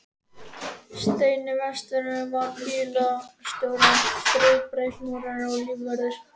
Steini verkstjóri var bílstjóri en Friðbert múrari var lífvörður.